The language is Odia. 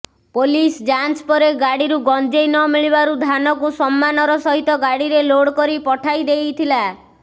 ପୋଲିସ ଯାଞ୍ଚ ପରେ ଗାଡିରୁ ଗଞ୍ଜେଇ ନ ମିଳିବାରୁ ଧାନକୁ ସମ୍ମାନର ସହିତ ଗାଡିରେ ଲୋଡକରି ପଠାଇ ଦେଇଥିଲା